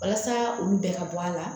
Walasa olu bɛɛ ka bɔ a la